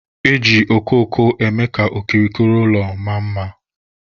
Eji okooko eme ka okirikiri ụlọ maa mma